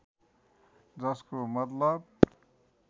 जसको मतलब